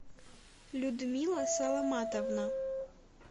людмила саламатовна